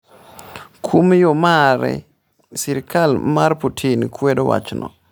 Kuom yo mare, sirkal mar Putin kwedo wachno.